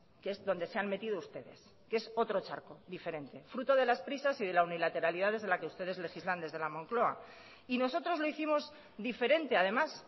que es donde se han metido ustedes que es otro charco diferente fruto de las prisas y de la unilateralidad desde la que ustedes legislan desde la moncloa y nosotros lo hicimos diferente además